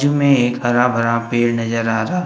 जू में एक हरा भरा पेड़ नजर आ रहा--